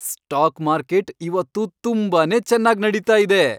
Stock market ಇವತ್ತು ತುಂಬಾನೇ ಚೆನ್ನಾಗ್ ನಡೀತಾ ಇದೆ.